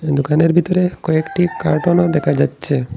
দোকানের ভিতরে কয়েকটি কার্টনও দেখা যাচ্ছে।